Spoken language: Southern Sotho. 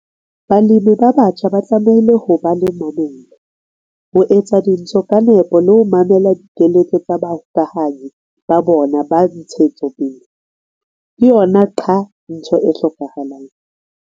Balemi ba batjha ba tlamehile ho ba le mamello, ho etsa dintho ka nepo le ho mamela dikeletso tsa bahokahanyi ba bona ba ntshetsopele. Ke yona qha! ntho e hlokahalang.